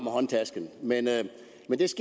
med lad